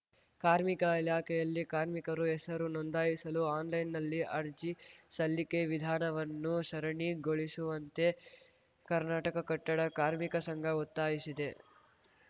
ಕಾರ್ಮಿಕ ಇಲಾಖೆಯಲ್ಲಿ ಕಾರ್ಮಿಕರು ಹೆಸರು ನೋಂದಾಯಿಸಲು ಆನ್‌ಲೈನ್‌ನಲ್ಲಿ ಅರ್ಜಿ ಸಲ್ಲಿಕೆ ವಿಧಾನವನ್ನು ಸರಳೀಗೊಳಿಸುವಂತೆ ಕರ್ನಾಟಕ ಕಟ್ಟಡ ಕಾರ್ಮಿಕ ಸಂಘ ಒತ್ತಾಯಿಸಿದೆ